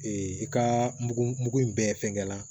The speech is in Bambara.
i ka mugu mugu in bɛɛ fɛngɛ la